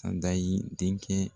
Angayi denkɛ